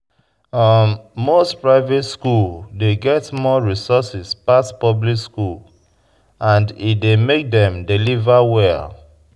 Most private school dey get more resources pass public school and e dey make dem deliver well